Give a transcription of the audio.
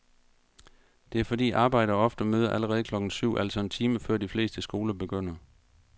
Det er fordi arbejdere ofte møder allerede klokken syv, altså en time før de fleste skoler begynder.